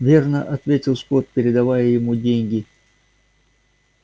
верно ответил скотт передавая ему деньги